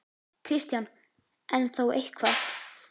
Kristján: En þó eitthvað?